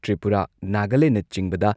ꯇ꯭ꯔꯤꯄꯨꯔꯥ, ꯅꯥꯒꯥꯂꯦꯟꯅꯆꯤꯡꯕꯗ ꯁꯤꯇꯤꯖꯟꯁꯤꯞ ꯑꯦꯃꯦꯟꯃꯦꯟ